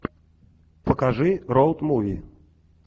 покажи роад муви